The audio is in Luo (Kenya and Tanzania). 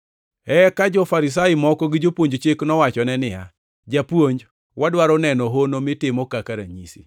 Eka jo-Farisai moko gi jopuonj chik nowachone niya, “Japuonj wadwaro neno hono mitimo kaka ranyisi.”